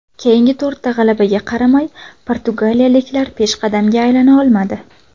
Keyingi to‘rtta g‘alabaga qaramay portugaliyaliklar peshqadamga aylana olmadi.